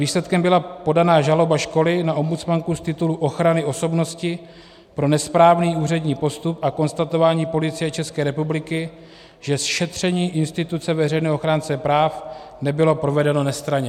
Výsledkem byla podaná žaloba školy na ombudsmanku z titulu ochrany osobnosti pro nesprávný úřední postup a konstatování Policie České republiky, že šetření instituce veřejného ochránce práv nebylo provedeno nestranně.